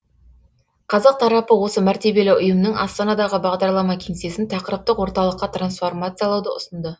қазақ тарапы осы мәртебелі ұйымның астанадағы бағдарлама кеңсесін тақырыптық орталыққа трансформациялауды ұсынды